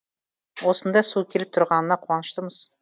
осындай су келіп тұрғанына қуаныштымыз